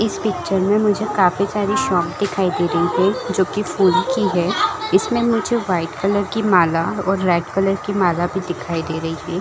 इस पिक्चर में मुझे काफी सारे शॉप दिखाई दे रही है जो की फुल की है इसमें मुझे वाइट कलर के माला और रेड कलर की माला भी दिखाई दे रही है।